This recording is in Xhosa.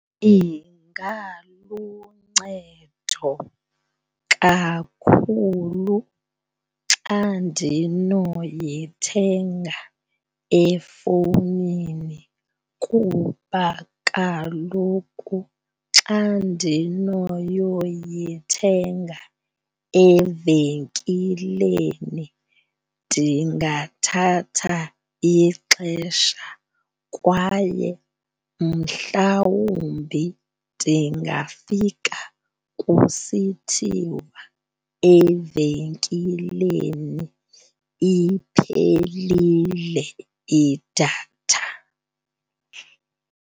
Ingaluncedo kakhulu xa ndinoyithenga efowunini kuba kaloku xa ndinoyoyithenga evenkileni, ndingathatha ixesha kwaye mhlawumbi ndingafika kusithiwa evenkileni iphelile idatha.